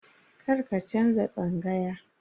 Karka canza tsangaya.